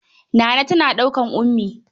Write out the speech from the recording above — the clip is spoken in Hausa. Naana tana dukan Ummi.